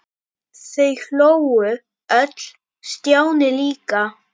Þau hlógu öll- Stjáni líka.